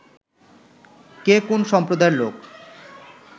কে কোন সম্প্রদায়ের লোক